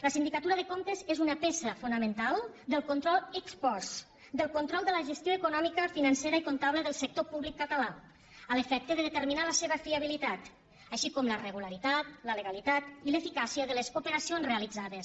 la sindicatura de comptes és una peça fonamental del control ex post del control de la gestió econòmica financera i comptable del sector públic català a l’efecte de determinar la seva fiabilitat així com la regularitat la legalitat i l’eficàcia de les operacions realitzades